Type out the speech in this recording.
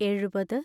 എഴുപത്